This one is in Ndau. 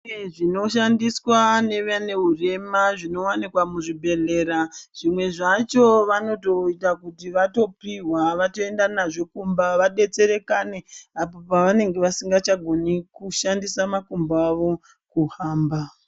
zvinoshandiswa nevane hurema kuzvibhedhlera zvimwe zvacho vanoita kuti vopihwa vaenda naye vadetserekanaebapo pavanenge vasingagoni kushandisa makumbo awo kuhamba.